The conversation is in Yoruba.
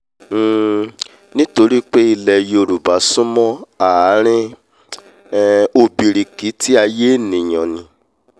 um nítorí pé ilẹ̀ yoròbá súnmọ́ ààrin um ọ̀bìrìkìtì aiyé ènìà ni